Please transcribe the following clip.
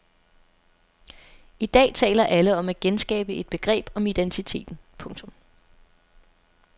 I dag taler alle om at genskabe et begreb om identiteten. punktum